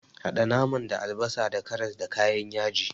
Haɗa naman da albasa, karas, da kayan yaji.